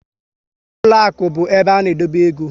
Ụlọakụ bụ ebe a na edobe égo